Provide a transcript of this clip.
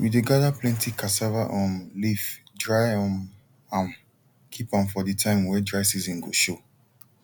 we dey gather plenty cassava um leaf dry um am keep am for the time wey dry season go show